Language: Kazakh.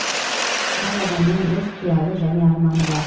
әр адамның өз қиялы және арманы бар